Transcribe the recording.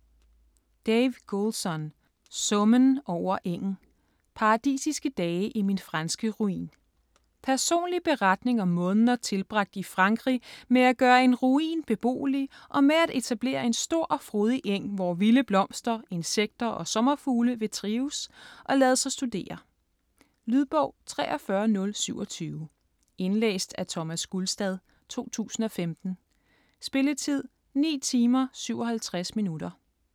Goulson, Dave: Summen over engen: paradisiske dage i min franske ruin Personlig beretning om måneder tilbragt i Frankrig med at gøre en ruin beboelig, og med at etablere en stor og frodig eng, hvor vilde blomster, insekter og sommerfugle vil trives - og lade sig studere. Lydbog 43027 Indlæst af Thomas Gulstad, 2015. Spilletid: 9 timer, 57 minutter.